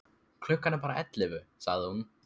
Klukkan er bara ellefu, sagði hún.